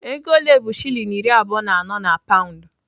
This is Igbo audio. Ego ole bụ shilling iri abụọ na anọ na paụnd?